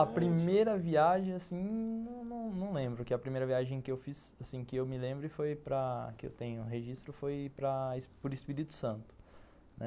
A primeira viagem, assim... não não lembro, porque a primeira viagem que eu fiz, assim, que eu me lembro e que eu tenho registro foi para o Espírito Santo, né.